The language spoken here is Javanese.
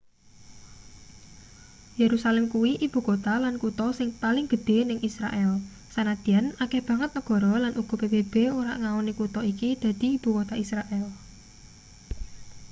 yerusalem kuwi ibukota lan kutha sing paling gedhe ning israel sanadyan akeh banget negara lan uga pbb ora ngaoni kutha iki dadi ibukota israel